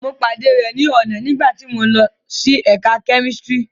Mo pade rẹ ni ọna nigbati mo n lo si ẹka kemistri